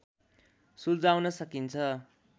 सुल्झाउन सकिन्छ